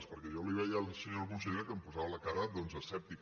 perquè jo li veia a la senyora consellera que em posava la cara doncs escèptica